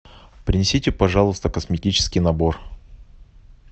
принесите пожалуйста косметический набор